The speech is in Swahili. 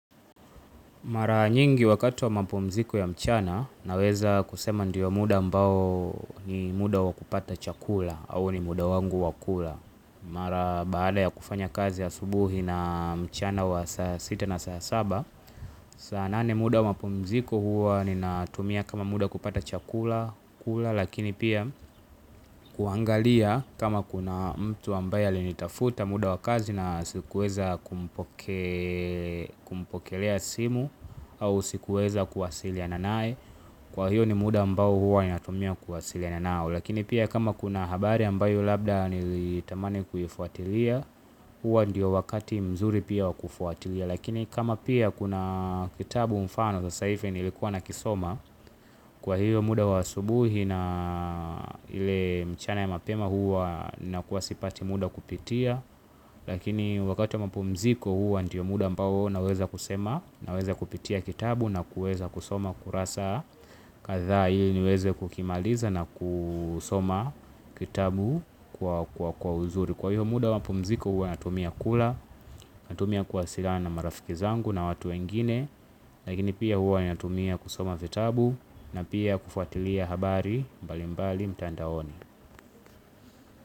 Mara nyingi wakati wa mapumziko ya mchana naweza kusema ndiyo muda ambao ni muda wa kupata chakula au ni muda wangu wa kula. Mara baada ya kufanya kazi ya asubuhi na mchana wa saa sita na saa saba, sana nane muda wa mapumziko huwa ninatumia kama muda kupata chakula, lakini pia kuangalia kama kuna mtu ambaye alinitafuta muda wa kazi na sikuweza kumpokelea simu au sikuweza kuwasiliana naye. Kwa hiyo ni muda ambayo huwa ninatumia kuwasiliana nao. Lakini pia kama kuna habari ambayo labda nilitamani kuifuatilia huwa ndiyo wakati mzuri pia wakufuatilia. Lakini kama pia kuna kitabu mfano sas hivi nilikuwa na kisoma. Kwa hiyo muda wa asubuhi na ile mchana ya mapema huwa na kuwasipati muda wa kupitia. Lakini wakati wa mpumziko huwa ndiyo muda ambao naweza kusema. Naweza kupitia kitabu na kuweza kusoma kurasa kadhaa ili niweze kukimaliza na kusoma kitabu kwa uzuri. Kwa hiyo muda wa mapumziko huwa natumia kula. Natumia kuwasiliana na marafiki zangu na watu wengine. Lakini pia huwa ninatumia kusoma vitabu na pia kufuatilia habari mbali mbali mtandaoni.